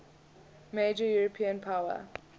major european power